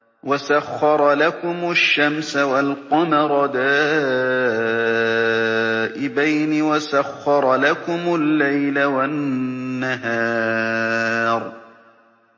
وَسَخَّرَ لَكُمُ الشَّمْسَ وَالْقَمَرَ دَائِبَيْنِ ۖ وَسَخَّرَ لَكُمُ اللَّيْلَ وَالنَّهَارَ